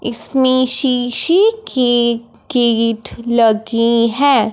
इसमें शीशे की किट लगी है।